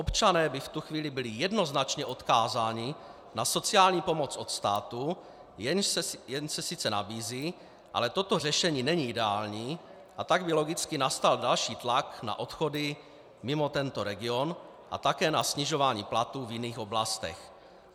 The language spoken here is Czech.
Občané by v tu chvíli byli jednoznačně odkázáni na sociální pomoc od státu, jenž se sice nabízí, ale toto řešení není ideální, a tak by logicky nastal další tlak na odchody mimo tento region a také na snižování platů v jiných oblastech.